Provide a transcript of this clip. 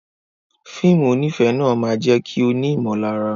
Fíìmù onífẹ̀ẹ́ náà máa jẹ́ kí o ní ìmọ̀lára.